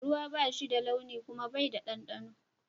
Ruwa ba shi da launi kuma Bai da dandano.